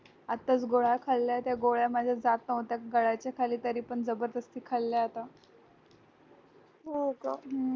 आत्ताच गोळ्या खाल्ल्यात त्या गोळ्या मला जास्त होत आहेत गळ्याच्या खाली तरीपण जबरदस्ती खाल्ल्या आता